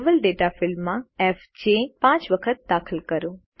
level data ફિલ્ડમાં FJ પાંચ વખત દાખલ કરો